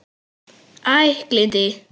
Æ, gleymdu því.